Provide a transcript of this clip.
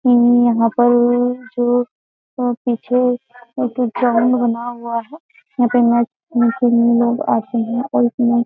यह पर जो पीछे एक ग्राउंड बना हुआ है यहाँ पे मैच खेलने के लिए लोग आते हैं और --